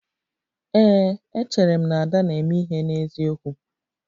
Ee, echere m na Ada na-eme ihe n'eziokwu